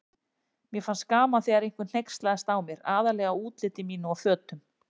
Mér fannst gaman þegar einhver hneykslaðist á mér, aðallega útliti mínu og fötum.